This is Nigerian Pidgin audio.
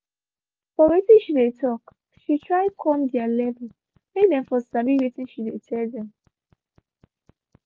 for watin she dey talk she try come their level make them for sabi watin she dey tell them.